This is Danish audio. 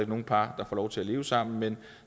nogle par der får lov til at leve sammen men